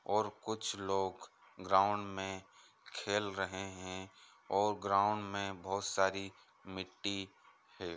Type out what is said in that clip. यहाँ एक बहुत बड़ा ग्राउंड है चारो तरफ बहुत सारे पेड़ पौधे दिखाई दे रहे है और कुछ लोग ग्राउंड में खेल रहे है और ग्राउंड में बहुत साड़ी मिट्टी है।